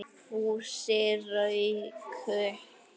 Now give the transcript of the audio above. Fúsi rauk upp.